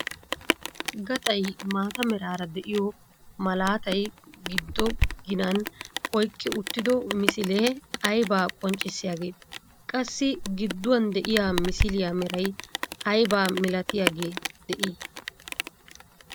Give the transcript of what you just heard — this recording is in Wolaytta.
Gaxay maata meraara de'iyo malaatay giddo ginan oyqqi uttido misilee aybaa qonccisiyaagee? Qassi gidduwaan de'iyaa misiliyaa meray aybaa milatiyaagee de'ii?